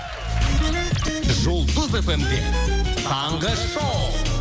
жұлдыз фм де таңғы шоу